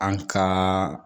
An ka